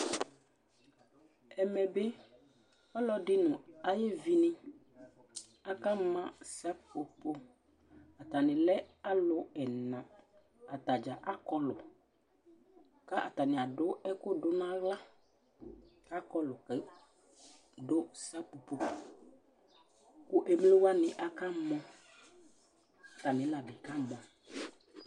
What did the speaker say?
ɛmɛ bi, ɔlɔdi nu ayevi ni akama sepopo, ata ni lɛ alu ɛna, ata dza akɔlu, ka ata ni adu ɛku du nu aɣla, akɔlu ka du sepopo ku ata ni aka mɔ, ata mi la bi kamɔ